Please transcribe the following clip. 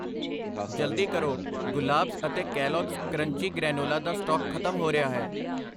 ਜਲਦੀ ਕਰੋ, ਗੁਲਾਬਜ਼ ਅਤੇ ਕੈਲੋਗਸ ਕਰੰਚੀ ਗ੍ਰੈਨੋਲਾ ਦਾ ਸਟਾਕ ਖਤਮ ਹੋ ਰਿਹਾ ਹੈ I